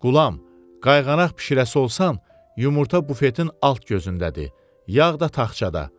Qulam, qayğanaq bişirəsi olsan, yumurta bufetin alt gözündədir, yağ da taxçada.